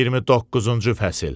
29-cu fəsil.